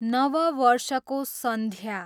नव वर्षको सन्ध्या